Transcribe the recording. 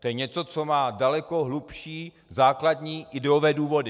To je něco, co má daleko hlubší základní ideové důvody.